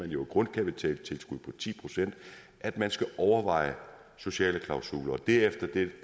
jo et grundkapitaltilskud på ti procent at man skal overveje sociale klausuler og det er efter